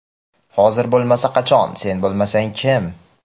Hozir bo‘lmasa qachon, sen bo‘lmasang kim?.